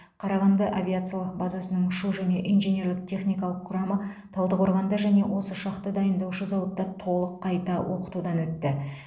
қарағанды авиациялық базасының ұшу және инженерлік техникалық құрамы талдықорғанда және осы ұшақты дайындаушы зауытта толық қайта оқытудан өтті